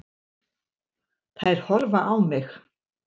Þær horfa á mig.